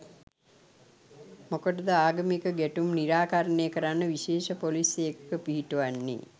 මොකටද ආගමික ගැටුම් නිරාකරණය කරන්න විශේෂ පොලිස් ඒකක පිහිටුවන්නේ.